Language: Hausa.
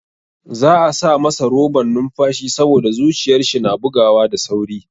Za'a sa masa roban numfashi saboda zuciyar shi na bugawa da sauri.